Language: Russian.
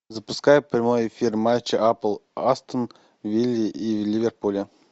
запускай прямой эфир матча апл астон виллы и ливерпуля